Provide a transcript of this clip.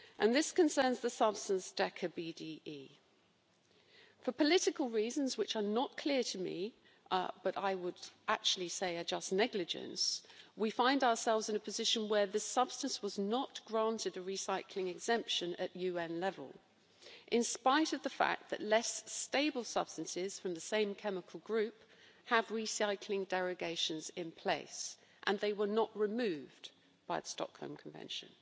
This concerns the substance decaBDE. For political reasons which are not clear to me but which, I would say, just amount to negligence we find ourselves in a position where this substance was not granted a recycling exemption at UN level, despite the fact that less stable substances from the same chemical group have recycling derogations in place, and these were not removed by the Stockholm Convention.